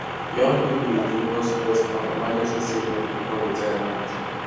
young people dey focus first on emergency savings before retirement